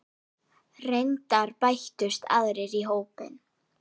Reyndar bættust aðrir í hópinn.